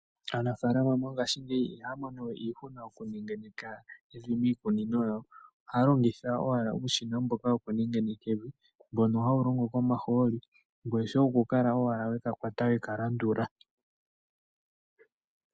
Aanafalama mongashi ngeyi ihamonowe iihuna okunengeneka evi miikunino yawo ohalongitha owala uushina mboka woku nengeneka evi mbono hawulongo komaholi ngweye shoye okukala owala wekakwata wekalandula.